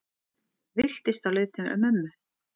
Villtist á leið til mömmu